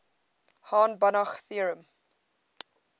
hahn banach theorem